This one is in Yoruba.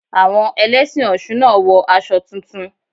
Àwọn Ẹlẹ́sìn Ọ̀ṣun náà wọ aṣọ tuntun.